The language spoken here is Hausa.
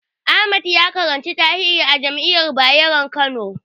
Ahmad ya karanci tarihi a jami'ar Bayero Kano.